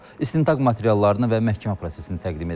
İstintaq materiallarını və məhkəmə prosesini təqdim edirik.